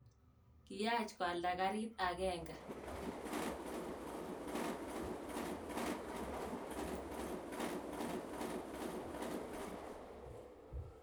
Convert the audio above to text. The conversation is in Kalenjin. Kiyaach koalda kariit agenge